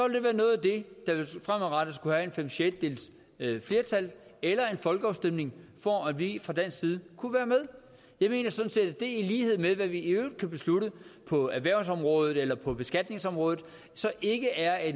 det være noget af det der fremadrettet skulle have fem sjettedeles flertal eller til en folkeafstemning for at vi fra dansk side kunne være med jeg mener sådan set at det i lighed med hvad vi i øvrigt kan beslutte på erhvervsområdet eller på beskatningsområdet ikke er af